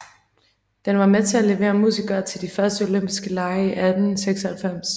Den var med til at levere musikere til de første olympiske lege i 1896